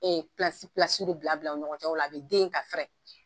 bila bila u ni ɲɔgɔncɛ o la a bɛ den ka fɛrɛ.